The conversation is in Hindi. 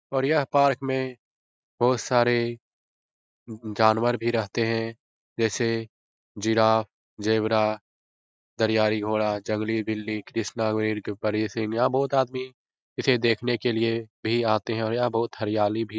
और यह पार्क में बहुत सारे उ उ जानवर भी रहते है। जैसे जिराफ ज़ेब्रा दरियाई घोड़ा जंगली बिल्ली के ऊपर यह सीन यहाँ बहुत आदमी इसे देखने के लिए भी आतें है और यहाँ बहुत हरियाली भी --